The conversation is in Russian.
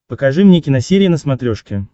покажи мне киносерия на смотрешке